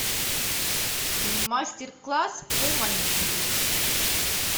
мастер класс по маникюру